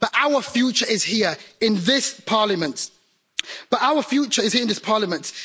But our future is here, in this Parliament.